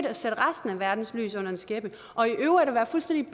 at sætte resten af verdens lys under en skæppe og i øvrigt at være fuldstændig